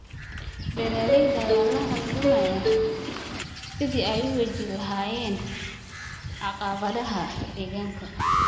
Beeralayda ayaa la halgamaya sidii ay u wajihi lahaayeen caqabadaha deegaanka.